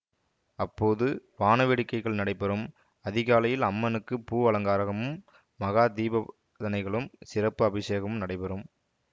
அப்போது வாணவேடிக்கைகள் நடைபெறும் அதிகாலையில் அம்மனுக்கு பூ அலங்காரமும் மகா தீபதனைகளும் சிறப்பு அபிசேகமும் நடைபெறும்